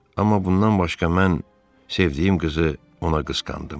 Amma bundan başqa mən sevdiyim qızı ona qısqandım.